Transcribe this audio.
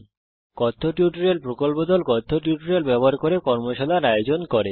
কথ্য টিউটোরিয়াল প্রকল্প দল কথ্য টিউটোরিয়াল ব্যবহার করে কর্মশালার আয়োজন করে